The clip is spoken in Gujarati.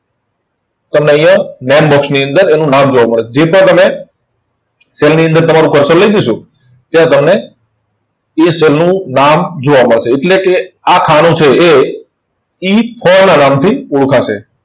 પણ અહીંયા બંધ box ની અંદર એનું નામ જોવા મળે છે. જેવી રીતના તમે cell ની અંદર તમારું cursor લઇ જશો, તો તમને એ cell નું નામ જોવા મળેશે. એટલે કે આ ખાનું છે એ E ના નામથી ઓળખાશે.